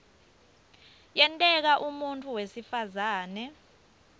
kuyenteka umuntfu wesifazane